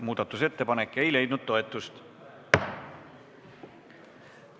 Muudatusettepanek ei leidnud toetust.